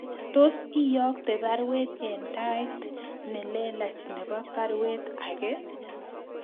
Tos iyokte baruet en tait nelelach nebo baruet age